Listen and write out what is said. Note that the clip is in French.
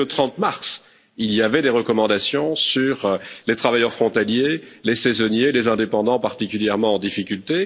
Dès le 30 mars, il existait des recommandations sur les travailleurs frontaliers, saisonniers et indépendants, particulièrement en difficulté.